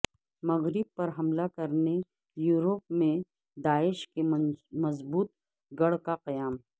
مغرب پر حملہ کرنے یوروپ میں داعش کے مضبوط گڑھ کا قیام